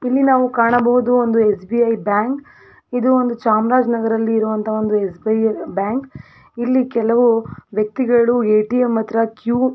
ಇಲ್ಲಿ ನಾವು ಕಾಣಬಹುದು ಒಂದು ಎಸ್.ಬಿ.ಐ ಬ್ಯಾಂಕ್ ಇದು ಒಂದು ಚಾಮರಾಜನಗರನಲ್ಲಿ ಇರುವಂತ ಒಂದು ಎಸ್.ಬಿ.ಐ ಬ್ಯಾಂಕ್ ಇಲ್ಲಿ ಕೆಲವು ವ್ಯಕ್ತಿಗಳು ಎ.ಟಿ.ಎಮ್ ಮತ್ರ ಕ್ಯೂ .